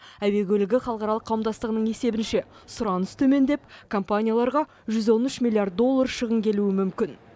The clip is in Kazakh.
әуе көлігі халықаралық қауымдастығының есебінше сұраныс төмендеп компанияларға жүз он үш миллиард доллар шығын келуі мүмкін